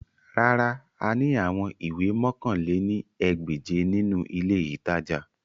Rárà, a ni awọn iwe mọ̀kan lé ní ẹgbẹ́je ninu ile itaja